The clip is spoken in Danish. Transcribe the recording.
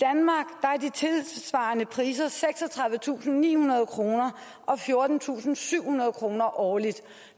tilsvarende priser seksogtredivetusinde og nihundrede kroner og fjortentusinde og syvhundrede kroner årligt